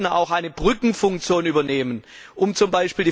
Wir sollten auch eine Brückenfunktion übernehmen, um z.